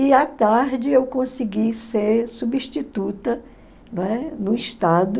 E à tarde eu consegui ser substituta, não é? No Estado,